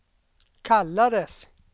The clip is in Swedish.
kallades